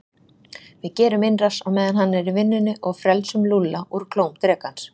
Við gerum innrás á meðan hann er í vinnunni og frelsum Lúlla úr klóm drekans